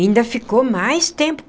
Ainda ficou mais tempo.